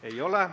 Ei ole.